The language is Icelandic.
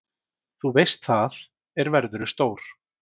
Þú veist það, er verðurðu stór.